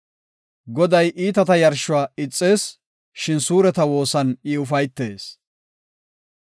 Goday iitata yarshuwa ixees; shin suureta woosan I ufaytees.